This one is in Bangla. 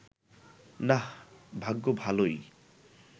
নাহ্, ভাগ্য ভালোই